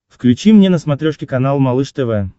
включи мне на смотрешке канал малыш тв